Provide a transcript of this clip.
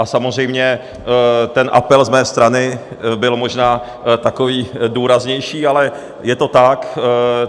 A samozřejmě ten apel z mé strany byl možná takový důraznější, ale je to tak.